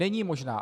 Není možná.